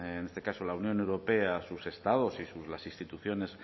en este caso la unión europea sus estados y las instituciones